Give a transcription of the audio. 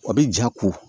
A bɛ ja ko